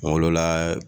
Kunkolo la